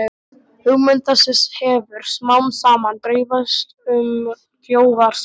Hugmynd þessi hefir smámsaman dreifst um þjóðarsálina